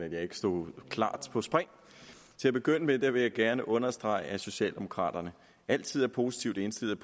at jeg ikke stod klar på spring til at begynde med vil jeg gerne understrege at socialdemokraterne altid er positivt indstillet